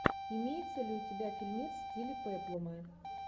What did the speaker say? имеется ли у тебя фильмец в стиле пеплума